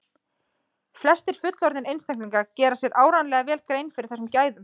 flestir fullorðnir einstaklingar gera sér áreiðanlega vel grein fyrir þessum gæðum